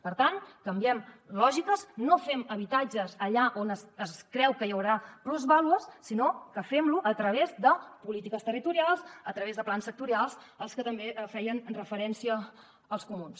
per tant canviem lògiques no fem habitatges allà on es creu que hi haurà plusvàlues sinó que fem lo a través de polítiques territorials a través de plans sectorials als que també feien referència els comuns